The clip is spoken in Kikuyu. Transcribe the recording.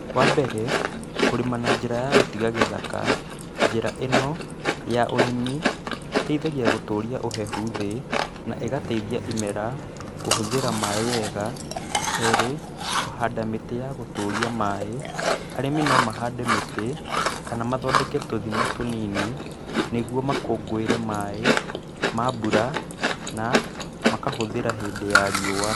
Wambere kũrima na njĩra ya gũtiga gĩthaka njĩra ĩno ya ũrĩmi ĩteithagia gũtũria ũhehu thĩ na ĩgateithia imera kũhũthĩra maaĩ wega. Kerĩ kũhanda mĩtĩ a gũtũria maaĩ, arĩmi no mahande mĩtĩ kana mathondeke tũthima tũnini nĩgũo makũngũĩre maaĩ ma mbura nĩguo makahũthĩra hĩndĩ ya riũwa.